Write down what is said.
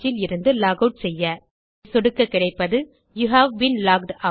இதை சொடுக்க கிடைப்பது யூவ் பீன் லாக்ட் ஆட்